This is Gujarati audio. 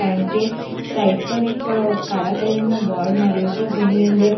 કારણ કે સાઈડ પર એક કાળા કલરનું બોર્ડ માર્યું છે જેની અંદર